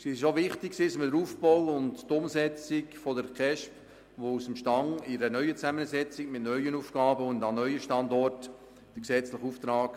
Wichtig war auch, dass wir Aufbau und Umsetzung der KESB eng begleiten, denn sie mussten ihren gesetzlichen Auftrag aus dem Stand in einer neuen Zusammensetzung, mit neuen Aufgaben und an neuen Standorten erfüllen.